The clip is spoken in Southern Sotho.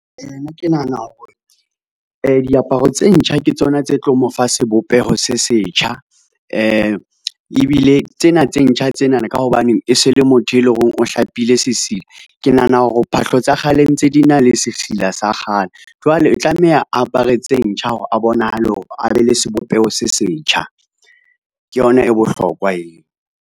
Nna ke nahana hore diaparo tse ntjha ke tsona tse tlo mo fa sebopeho se setjha. Ebile tsena tse ntjha tsenana ka hobaneng e se le motho e leng hore o hlapile sesila. Ke nahana hore phahlo tsa kgale ntse di na le sesila sa kgale jwale e tlameha a apare tse ntjha hore a bonahale hore a be le sebopeho se setjha. Ke yona e bohlokwa eo.